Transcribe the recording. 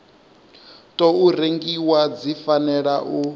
tou rengiwa dzi fanela u